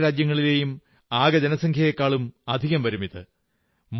ലോകത്തിലെ പല രാജ്യങ്ങളിലെയും ആകെ ജനസംഖ്യയെക്കാളും അധികം വരുമിത്